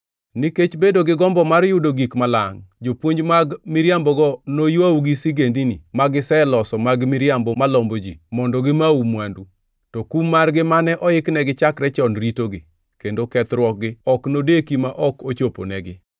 Nikech bedo gi gombo mar yudo gik malangʼ, jopuonj mag miriambogo noywau gi sigendini magiseloso mag miriambo malombo ji; mondo gimau mwandu. To kum margi mane oiknegi chakre chon ritogi, kendo kethruokgi ok nodeki ma ok ochoponegi.